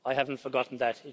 I haven't forgotten that.